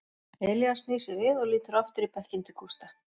Elías snýr sér við og lítur aftur í bekkinn til Gústa.